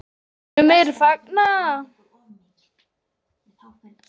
Sumir fagna.